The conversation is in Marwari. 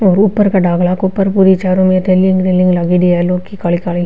और ऊपर डंगला के ऊपर चारो में रेलिंग लागेड़ी है काली काली।